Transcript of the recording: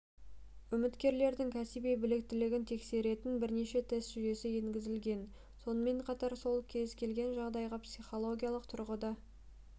үміткерлердің кәсіби біліктілігін тексеретін бірнеше тест жүйесі енгізілген сонымен қатар ол кез келген жағдайға психологиялық тұрғыда